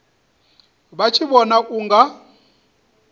vha tshi vhona u nga